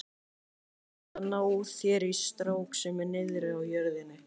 Þú þarft að ná þér í strák sem er niðri á jörðinni.